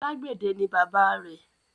Alágbẹ̀dẹ ni bàbáa rẹ̀.